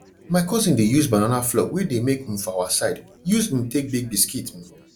my cousin dey use banana flour wey de make um for our side use um take bake biscuit um